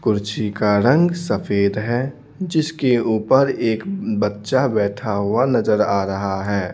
कुर्सी का रंग सफेद है जिसके ऊपर एक बच्चा बैठा हुआ नजर आ रहा है।